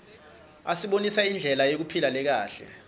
asibonisa indlela yekuphila lekahle